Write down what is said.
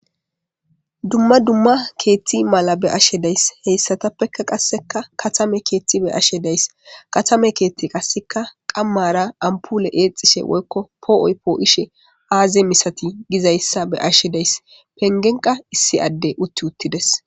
Dumma dumma keeththi mala be'ashe days heyssatappeka qasseka katame keetjthi be'ashe days katame keerhrhi qasseka qammara ampole eexishshe woykko poo'oy poo'ishe aaze misati gizayssa be'ashe days pengenqa issi adde utti uttides